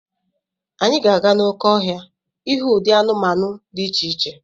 Anyị ga-aga n'oké ọhịa ịhụ ụdị anụmanụ dị iche iche.